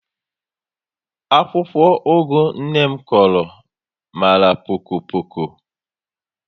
Akwụkwọ ugu nné m Kuru mara poko poko